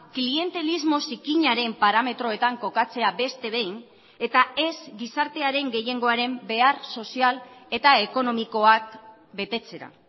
klientelismo zikinaren parametroetan kokatzea beste behin eta ez gizartearen gehiengoaren behar sozial eta ekonomikoak betetzera